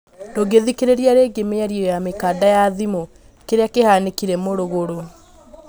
ndungĩthikĩrĩria rĩngĩ mĩario ya mĩkanda ya thimũ, kĩria kĩhanĩkire mũrugurũ?